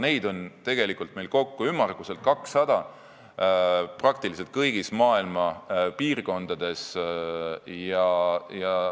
Neid on meil kokku ümmarguselt 200, peaaegu kõigis maailma piirkondades.